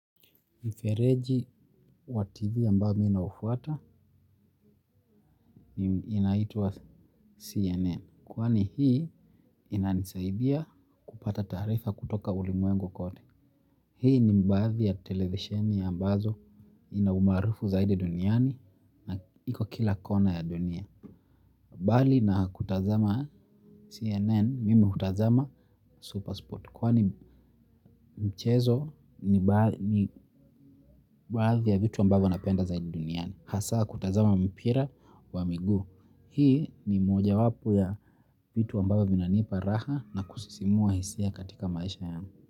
Mfereji wa TV ambayo mi naufwata, inaitua CNN. Kwani hii inanisaidia kupata taarifa kutoka ulimwengu kote. Hii ni baadhi ya televisheni ambazo inaumarufu zaidi duniani na iko kila kona ya dunia. Bali na kutazama CNN, mimi hutazama Supersport. Kwani mchezo ni baadhi ya vitu ambavyo napenda zaidi duniani. Hasa kutazama mpira wa miguu. Hii ni moja wapo ya vitu ambavyo vinanipa raha na kusisimua hisia katika maisha yangu.